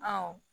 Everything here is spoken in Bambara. Ɔ